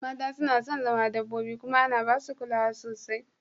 Mata suna son zama dabbobi kuma ana ba su kulawa sosai